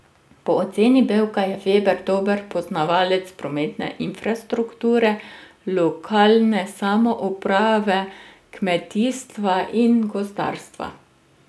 Po oceni Bevka je Veber dober poznavalec prometne infrastrukture, lokalne samouprave, kmetijstva in gozdarstva.